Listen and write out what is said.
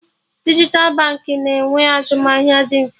Dijital banks na-enwe azụmahịa dị mfe